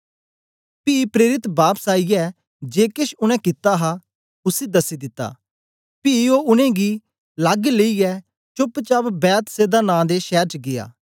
पी प्रेरित बापस आईयै जे केछ उनै कित्ता हा उसी दसी दिता पी ओ उनेंगी लग लेईयै चोप्प चाप बेतसैदा नां दे शैर च गीया